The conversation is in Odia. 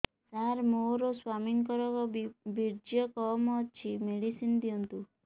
ସାର ମୋର ସ୍ୱାମୀଙ୍କର ବୀର୍ଯ୍ୟ କମ ଅଛି ମେଡିସିନ ଦିଅନ୍ତୁ